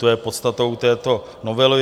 To je podstatou této novely.